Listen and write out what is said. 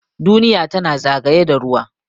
Duniya tana zagaye da ruwa.